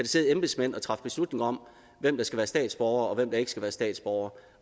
sidde embedsmænd og træffe beslutninger om hvem der skal være statsborgere og hvem der ikke skal være statsborgere